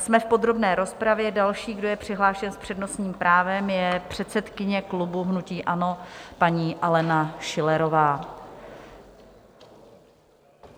Jsme v podrobné rozpravě, další, kdo je přihlášen s přednostním právem, je předsedkyně klubu hnutí ANO paní Alena Schillerová.